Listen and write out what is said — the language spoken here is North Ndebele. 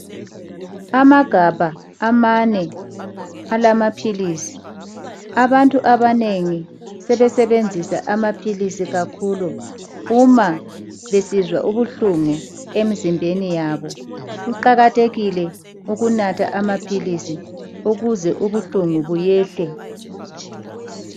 Amagabha amane alamaphilisi, abantu abanengi sebesebenzisa amaphilisi kakhulu uma besizwa ubuhlungu emzimbeni yabo. Kuqakathekile ukunatha amaphilisi ukuze ubuhlungu buyehle.